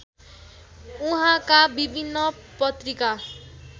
उहाँका विभिन्न पत्रिका